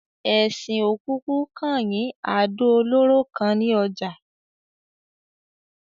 Esin ò kokú kan yín àdò olóró kan ni ojà